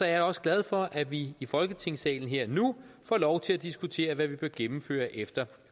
jeg også glad for at vi i folketingssalen her og nu får lov til at diskutere hvad vi bør gennemføre efter